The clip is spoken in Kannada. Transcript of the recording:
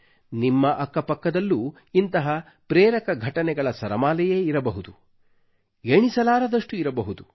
ನಿಮ್ಮ ಅಕ್ಕ ಪಕ್ಕದಲ್ಲೂ ಇಂತಹ ಪ್ರೇರಕ ಘಟನೆಗಳ ಸರಮಾಲೆಯೇ ಇರಬಹುದು ಎಣಿಸಲಾರದಷ್ಟು ಇರಬಹುದು